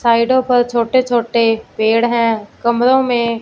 साइडों पर छोटे छोटे पेड़ हैं कमरों में--